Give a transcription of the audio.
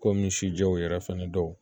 Kɔmi sijɛw yɛrɛ fɛnɛ dɔw